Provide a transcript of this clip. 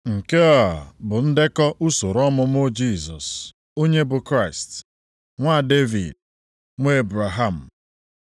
Nke a bụ ndekọ usoro ọmụmụ Jisọs onye bụ Kraịst, nwa Devid, nwa Ebraham.